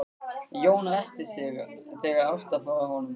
Jón ræskti sig þegar Ásta fór frá honum.